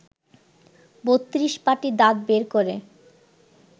৩২ পাটি দাঁত বের করে